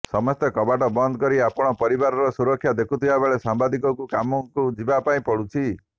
ସମସ୍ତେ କବାଟ ବନ୍ଦ କରି ଆପଣା ପରିବାରର ସୁରକ୍ଷା ଦେଖୁଥିବା ବେଳେ ସାମ୍ବାଦିକକୁ କାମକୁ ଯିବା ପାଇଁ ପଡ଼ୁଛି